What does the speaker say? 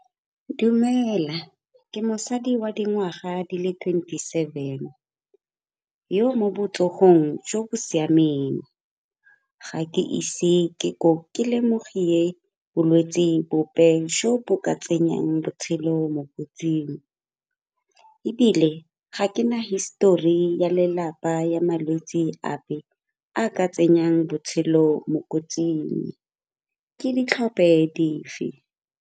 Dumela, ke mosadi wa dingwaga di le twenty-seven, yo mo botsogong jo bo siameng ga ke ise ke lemogile bolwetsi bope jo bo ka tsenyang botshelo mo kotsing. Ebile ga ke na histori ya lelapa ya malwetsi ape a a ka tsenyang botshelo mo kotsing. Ke di dife.